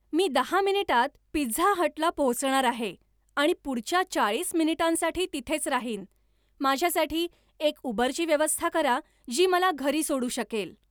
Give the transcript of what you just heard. मी दहा मिनिटांत पिझ्झा हटला पोहोचणार आहे आणि पुढच्या चाळीस मिनिटांसाठी तिथेच राहीन माझ्यासाठी एक उबरची व्यवस्था करा जी मला घरी सोडू शकेल